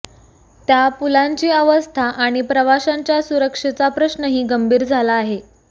त्या पुलांची अवस्था आणि प्रवाशांच्या सुरक्षेचा प्रश्नही गंभीर झाला आहे